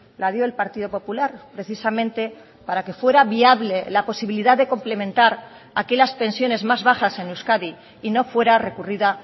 la dio el partido popular precisamente para que fuera viable la posibilidad de complementar aquellas pensiones más bajas en euskadi y no fuera recurrida